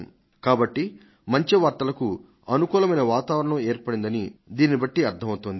సానుకూలమైన వార్తలకు అంతటా ఒక వాతావరణం ఏర్పడిందని చెప్పడం సరైందే